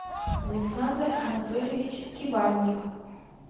александр анатольевич кибальник